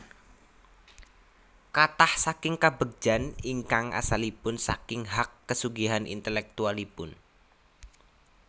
Kathah saking kabegjan ingkang asalipun saking hak kesugihan intelektualipun